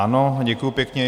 Ano, děkuji pěkně.